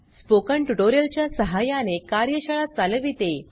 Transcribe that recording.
spoken tutorial च्या सहाय्याने कार्यशाळा चालविते